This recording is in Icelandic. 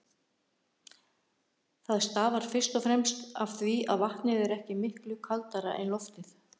Það stafar fyrst og fremst af því að vatnið er ekki miklu kaldara en loftið.